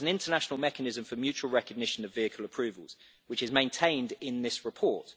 There is an international mechanism for mutual recognition of vehicle approvals, which is maintained in this report.